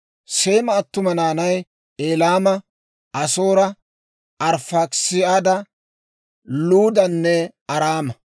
Seema attuma naanay: Elaama, Asoora, Arifaakisaada, Luudanne Araama.